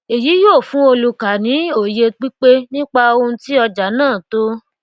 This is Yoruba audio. èyí yóò fún olùkà ní òye pípé nípa ohun tí ọjà náà tó